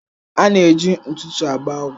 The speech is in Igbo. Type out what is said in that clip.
A na-eji ntụtụ agba ọgwụ.